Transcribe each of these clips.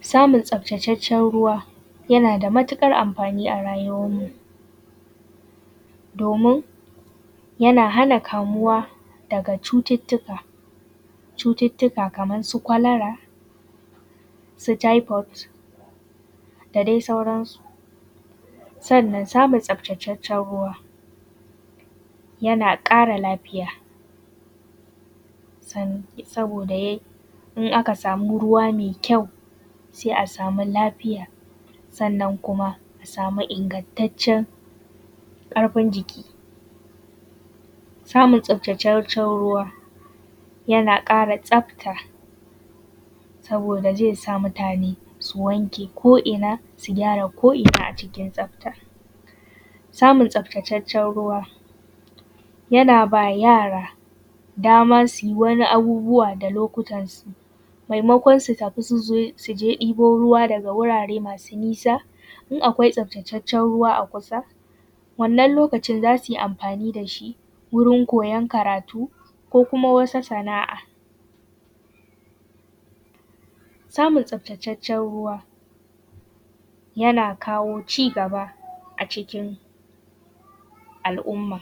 Samun tsaftataccen ruwa yana da matukar amfani a rayuwarmu. Domin yana hana kamuwa daga cututtuka, cututtuka kamar su kwalara, su typhoid da dai sauransu. Sannan samun tsaftataccen ruwa yana kara lafiya, saboda in aka samu ruwa mai kyau sai a samu lafiya, sannan kuma a samu ingantaccen ƙarfin jiki, samun tsaftataccen ruwa yana ƙara tsafta. Saboda zai sa mutane su wanke ko’ina, su gyara ko’ina a cikin tsaftar. Samun tsaftataccen ruwa yana ba yara damar su yi wani abubuwa da lokutansu, maimakon su tafi su je ɗibo ruwa daga wurare masu nisa. In akwai tsaftataccen ruwa a kusa, wannan lokacin za su yi amfani da shi wurin koyon karatu, ko kuma wasu sana'a. Samun tsaftataccen ruwa yana kawo cigaba a cikin al'umma.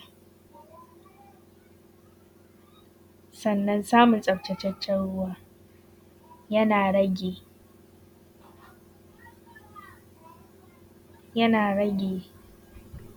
Sannan samun tsaftataccen ruwa yana rage.